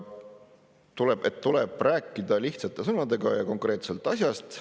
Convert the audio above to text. Tuleb rääkida lihtsate sõnadega ja konkreetselt asjast.